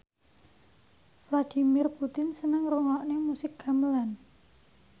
Vladimir Putin seneng ngrungokne musik gamelan